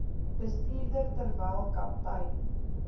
bestuurder terwyl kaptein